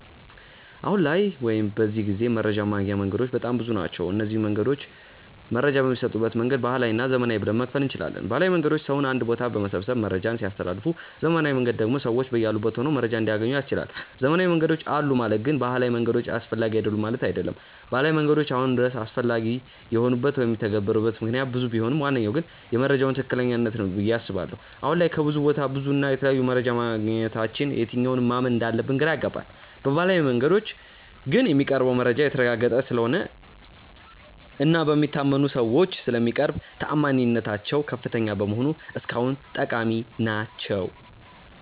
አሁን ላይ ወይም በዚህ ጊዜ መረጃን ማግኛ መንገዶች በጣም ብዙ ናቸው። እነዚንም መንገዶች መረጃ በሚሰጡበት መንገድ ባህላዊ እና ዘመናዊ ብለን መክፈል እንችላለን። ባህላዊ መንገዶች ሰውን አንድ ቦታ በመሰብሰብ መረጃን ሲያስተላልፉ ዘመናዊው መንገድ ደግሞ ሰዎች በያሉበት ሆነው መረጃን እንዲያገኙ ያስችላል። ዘመናዊ መንገዶች አሉ ማለት ግን ባህላዊ መንገዶች አስፈላጊ አይደሉም ማለት አይደለም። ባህላዊ መንገዶች አሁንም ድረስ አስፈላጊ የሆኑበት ወይም የሚተገበሩበት ምክንያት ብዙ ቢሆንም ዋነኛው ግን የመረጃዎች ትክክለኛነት ነው ብዬ አስባለሁ። አሁን ላይ ከብዙ ቦታ ብዙ እና የተለያየ መረጃ ማግኘታችን የትኛውን ማመን እንዳለብን ግራ ያጋባል። በባህላዊው መንገዶች ግን የሚቀርበው መረጃ የተረጋገጠ ስለሆነ እና በሚታመኑ ሰዎች ስለሚቀርቡ ተአማኒነታቸው ከፍተኛ በመሆኑ እስካሁን ጠቃሚ ናቸው።